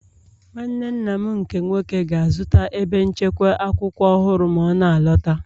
Nwanne nna m nke nwoke ga-azụta ebe nchekwa akwụkwọ ọhụrụ ma ọ na-alọta